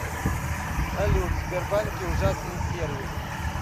салют в сбербанке ужасный сервис